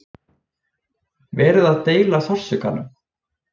Verið að deila sársaukanum